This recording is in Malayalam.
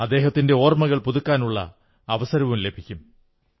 അദ്ദേഹത്തിന്റെ ഓർമ്മകൾ പുതുക്കാനുള്ള അവസരം ലഭിക്കും